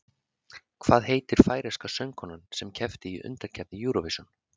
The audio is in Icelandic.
Hvað heitir færeyska söngkonan sem keppti í undankeppni Eurovision?